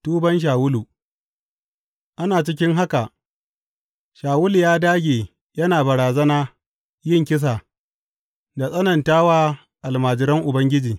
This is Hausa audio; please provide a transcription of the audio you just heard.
Tuban Shawulu Ana cikin haka, Shawulu ya ɗage yana barazana yin kisa da tsananta wa almajiran Ubangiji.